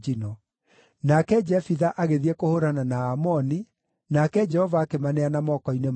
Nake Jefitha agĩthiĩ kũhũũrana na Aamoni, nake Jehova akĩmaneana moko-inĩ make.